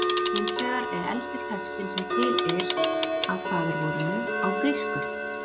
Hins vegar er elsti textinn sem til er af faðirvorinu á grísku: